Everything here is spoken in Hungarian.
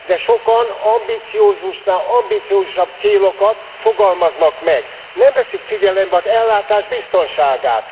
De sokan ambiciózusnál ambiciózusabb célokat fogalmaznak meg nem veszik figyelembe az ellátás biztonságát.